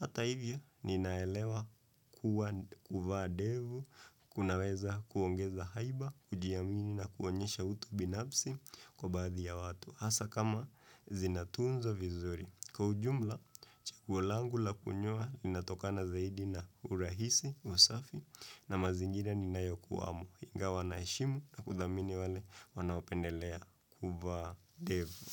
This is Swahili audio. Hata hivyo ninaelewa kuwa kuvaa ndevu, kunaweza kuongeza haiba, kujiamini na kuonyesha utu binafsi kwa baadhi ya watu. Hasa kama zinatunzwa vizuri. Kwa ujumla, chaguo langu la kunyoa linatokana zaidi na urahisi, usafi, na mazingira ninayokuwamo, ingawa naheshimu na kudhamini wale wanaopendelea kuvaa ndevu.